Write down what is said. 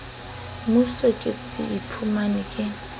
moso ke se iphumane ke